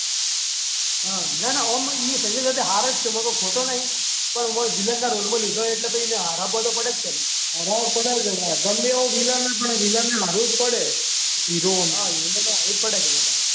ના ના ઓમ નહી ઈયે સંજય દત્ત બી હારો જ છે કોઈ ખોટો નહીં પણ વિલનના રોલમાં લીધો એટલે એને હરાવો તો પડે જ ને ગમે એવો વિલન હોય તો હારવું પડે હીરો હોમુ.